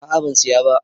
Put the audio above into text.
A'a ban Siya ba.